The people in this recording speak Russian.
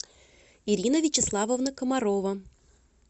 ирина вячеславовна комарова